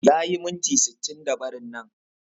Yayi miniti sittinda barin nan